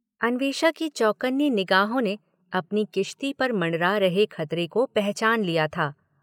अन्वेषा की चौकन्नी निगाहों ने अपनी किश्ती पर मंडरा रहे खतरे को पहचान लिया था